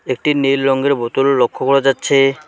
একটি নীল রঙ্গের বোতলও লক্ষ্য করা যাচ্ছে।